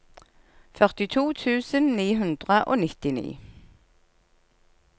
førtito tusen ni hundre og nittini